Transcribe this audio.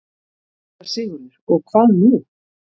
SÉRA SIGURÐUR: Og hvað nú?